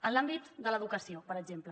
en l’àmbit de l’educació per exemple